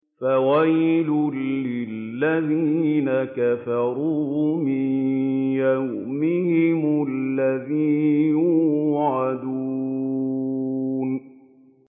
فَوَيْلٌ لِّلَّذِينَ كَفَرُوا مِن يَوْمِهِمُ الَّذِي يُوعَدُونَ